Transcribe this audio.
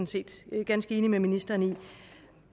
set ganske enig med ministeren i